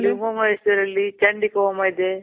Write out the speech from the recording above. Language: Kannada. ಅಲ್ಲಿ ಹೋಮ ಹೆಸರಲ್ಲಿ ಚಂಡಿ ಹೋಮ ಇದೆ.